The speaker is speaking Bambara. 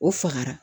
O fagara